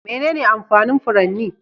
Menene amfanin furanni?